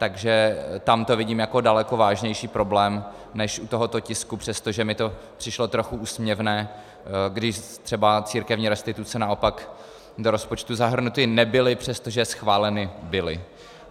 Takže tam to vidím jako daleko vážnější problém než u tohoto tisku, přestože mi to přišlo trochu úsměvné, když třeba církevní restituce naopak do rozpočtu zahrnuty nebyly, přestože schváleny byly.